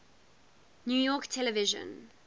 new york television